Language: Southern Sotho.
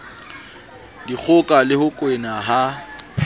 dikgoka le ho kwena ha